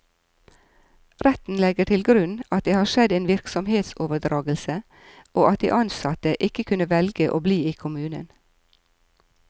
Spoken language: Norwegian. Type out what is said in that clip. Retten legger til grunn at det har skjedd en virksomhetsoverdragelse, og at de ansatte ikke kunne velge å bli i kommunen.